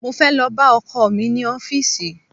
Mo fẹ́ lọ bá ọkọ̀ mi ní ọfísì